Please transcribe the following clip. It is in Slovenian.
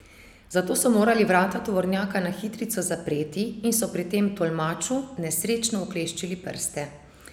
Zato so morali vrata tovornjaka na hitrico zapreti in so pri tem tolmaču nesrečno ukleščili prste.